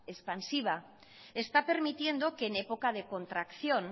expansiva está permitiendo que en época de contracción